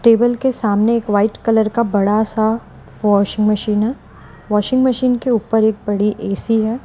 Table के सामने एक व्हाइट कलर का बड़ा सा वाशिंग मशीन वाशिंग मशीन के ऊपर एक बड़ी ए_सी है।